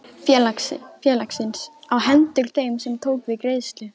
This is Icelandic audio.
félagsins á hendur þeim sem tók við greiðslu.